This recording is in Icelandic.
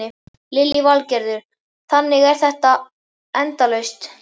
Lillý Valgerður: Þannig að þetta er endalaust?